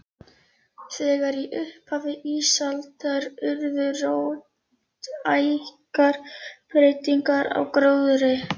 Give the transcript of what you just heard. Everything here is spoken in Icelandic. Þegar í upphafi ísaldar urðu róttækar breytingar á gróðri.